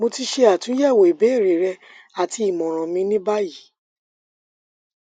mo ti ṣe atunyẹwo ibeere rẹ ati imọran mi ni bayi